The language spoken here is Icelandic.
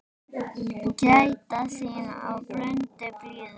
Gæta þín í blundi blíðum.